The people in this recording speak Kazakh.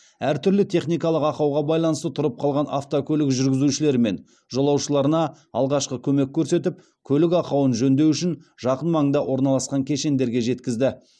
әртүрлі техникалық ақауға байланысты тұрып қалған автокөлік жүргізушілері мен жолаушыларына алғашқы көмек көрсетіп көлік ақауын жөндеу үшін жақын маңда орналасқан кешендерге жеткізді